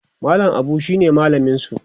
mallam Abu shine mallaminsu